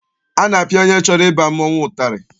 A na-apịa onye chọrọ ịba mmọnwụ ụtarị.